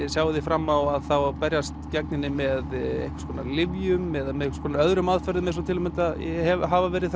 sjáið þið fram á að berjast gegn henni með einhvers konar lyfjum eða með einhvers konar öðrum aðferðum eins og hafa verið